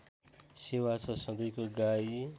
सेवा छ सधैँको गाई